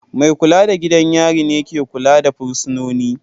Mai kula da gidan yari ne ke kula da fursunoni.